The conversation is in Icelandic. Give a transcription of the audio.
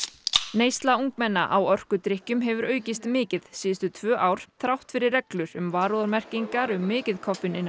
neysla ungmenna á orkudrykkjum hefur aukist mikið síðustu tvö ár þrátt fyrir reglur um varúðarmerkingar um mikið